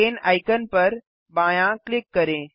चैन icon पर बायाँ click करें